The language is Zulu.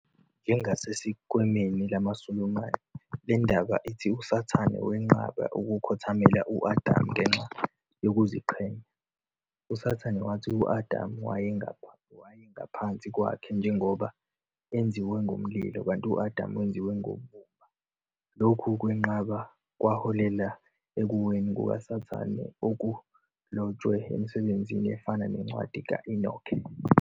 Njengasesikweni lamaSulumane, le ndaba ithi uSathane wenqaba ukukhothamela u-Adam ngenxa yokuziqhenya. USathane wathi u-Adamu wayengaphansi kwakhe njengoba enziwa ngomlilo, kanti u-Adamu wenziwa ngobumba. Lokhu kwenqaba kwaholela ekuweni kukaSathane okulotshwe emisebenzini efana neNcwadi ka-Enoke.